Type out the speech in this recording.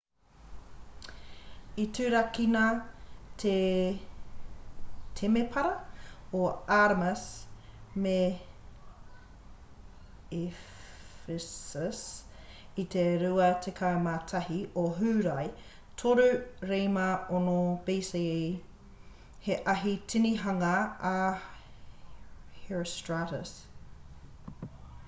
i turakina te temepara o artemis me ephesus i te 21 o hūrae 356 bce he ahi tinihanga a herostratus